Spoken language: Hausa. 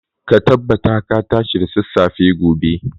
Ka tabbata ka tashi da sassafe gobe.